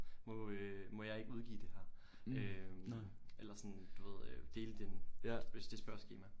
Må øh må jeg ikke udgive det her øh eller sådan du ved øh dele din dit spørgeskema